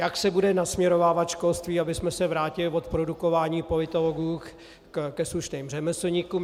jak se bude nasměrovávat školství, abychom se vrátili od produkování politologů ke slušným řemeslníkům;